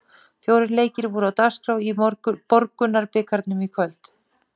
Fjórir leikir voru á dagskrá í Borgunarbikarnum í kvöld.